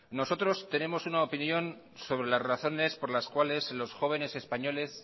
nosotros tenemos una opinión sobre las razones por la cuales los jóvenes españoles